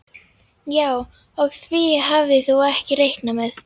Já, og því hafðir þú ekki reiknað með